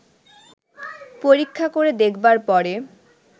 পরীক্ষা করে দেখবার পরে